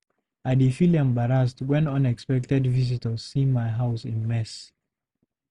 I dey feel embarrassed when unexpected visitors see my house in mess.